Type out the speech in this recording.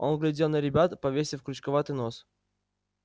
он глядел на ребят повесив крючковатый нос